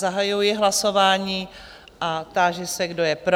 Zahajuji hlasování a táži se, kdo je pro?